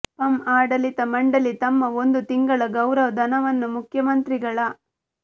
ಪಂ ಆಡಳಿತ ಮಂಡಳಿ ತಮ್ಮ ಒಂದು ತಿಂಗಳ ಗೌರವ ಧನವನ್ನು ಮುಖ್ಯಮಂತ್ರಿಗಳ